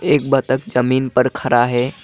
एक बतख जमीन पर खड़ा है।